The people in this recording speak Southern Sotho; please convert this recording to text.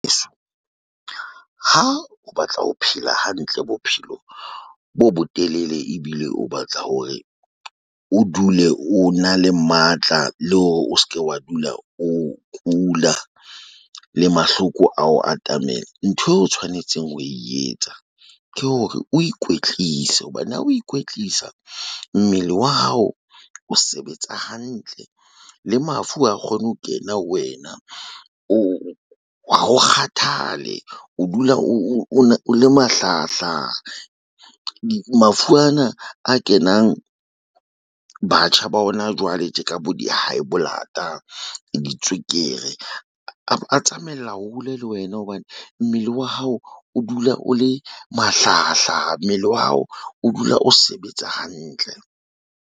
Ha o batla ho phela hantle bophelo bo botelele ebile o batla hore o dule, o na le matla le hore o se ke wa dula o kula le mahloko ao atamela. Ntho eo o tshwanetseng ho e etsa. Ke hore o ikwetlise hobane ha o ikwetlisa. Mmele wa hao o sebetsa hantle le mafu ha kgone ho kena wena o ha o kgathale o dula o le mahlahahlaha. Mafu ana a kenang batjha ba hona jwale tje ka bo di-high blood-a di tswekere. A tsamaella hole le wena hobane mmele wa hao o dula o le mahlahahlaha, mmele wa hao o dula o sebetsa hantle.